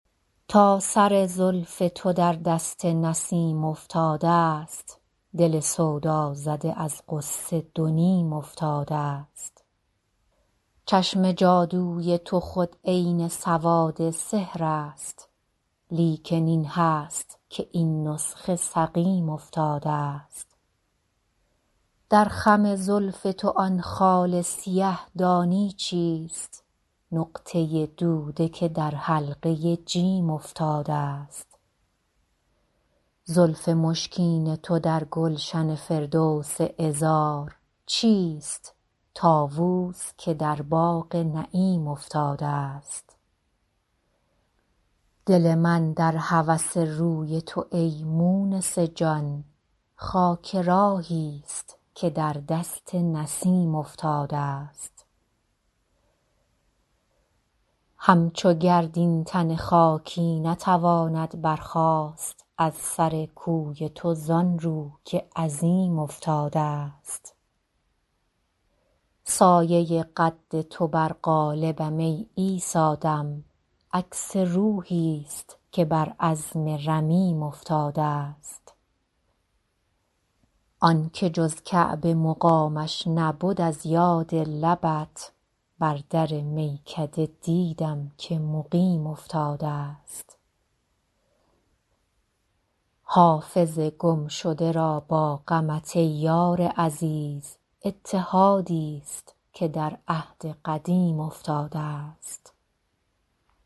تا سر زلف تو در دست نسیم افتادست دل سودازده از غصه دو نیم افتادست چشم جادوی تو خود عین سواد سحر است لیکن این هست که این نسخه سقیم افتادست در خم زلف تو آن خال سیه دانی چیست نقطه دوده که در حلقه جیم افتادست زلف مشکین تو در گلشن فردوس عذار چیست طاووس که در باغ نعیم افتادست دل من در هوس روی تو ای مونس جان خاک راهیست که در دست نسیم افتادست همچو گرد این تن خاکی نتواند برخاست از سر کوی تو زان رو که عظیم افتادست سایه قد تو بر قالبم ای عیسی دم عکس روحیست که بر عظم رمیم افتادست آن که جز کعبه مقامش نبد از یاد لبت بر در میکده دیدم که مقیم افتادست حافظ گمشده را با غمت ای یار عزیز اتحادیست که در عهد قدیم افتادست